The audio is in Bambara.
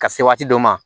Ka se waati dɔ ma